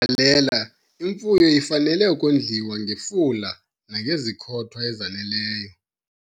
Kule mbalela imfuyo ifanele ukondliwa ngefula nangezikhothwa ezaneleyo